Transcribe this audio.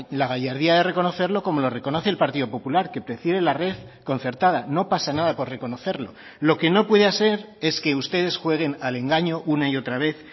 la gallardía de reconocerlo como lo reconoce el partido popular que prefiere la red concertada no pasa nada por reconocerlo lo que no puede ser es que ustedes jueguen al engaño una y otra vez